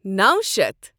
نوَ شیتھ